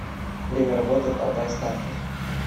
время работы алтайстартер